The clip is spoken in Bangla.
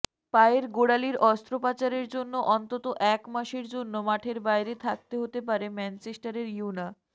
পায়ের গোড়ালির অস্ত্রোপচারের জন্য অন্তত এক মাসের জন্য মাঠের বাইরে থাকতে হতে পারে ম্যানচেস্টার ইউনা